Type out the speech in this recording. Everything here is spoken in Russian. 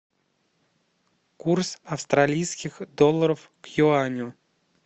курс австралийских долларов к юаню